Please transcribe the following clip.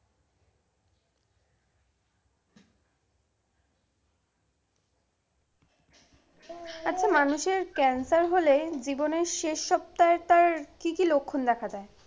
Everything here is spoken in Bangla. আচ্ছা মানুষের cancer হলে জীবনের শেষ সপ্তাহে তার কি কি লক্ষণ দেখা যায়?